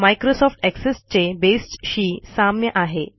Microsoft access चे बेसशी साम्य आहे